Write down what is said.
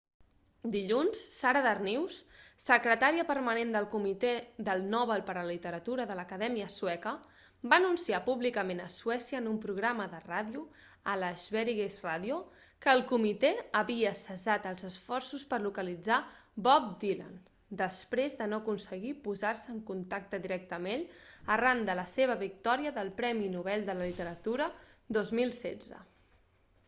dilluns sara danius secretària permanent del comitè del nobel per la literatura de l'acadèmia sueca va anunciar públicament a suècia en un programa de ràdio a la sveriges radio que el comitè havia cessat els esforços per localitzar bob dylan després de no aconseguir posar-se en contacte directe amb ell arran de la seva victòria del premi nobel de la literatura 2016